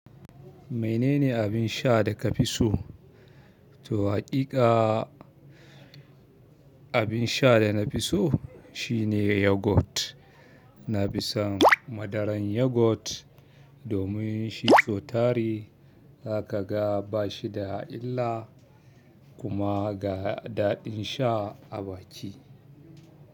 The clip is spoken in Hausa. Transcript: Mene ne abin sha da ka fi so? To haƙiƙa abin sha da na fi so shine yogurt. Na fi son madaran yogurt domin shi sotari, zaka ga ba shi da illa kuma ga daɗin sha a baki.